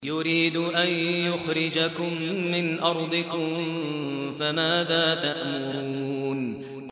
يُرِيدُ أَن يُخْرِجَكُم مِّنْ أَرْضِكُمْ ۖ فَمَاذَا تَأْمُرُونَ